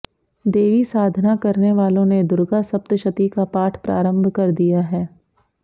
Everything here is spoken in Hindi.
देवी साधना करने वालों ने दुर्गा सप्तशती का पाठ प्रारंभ कर दिया है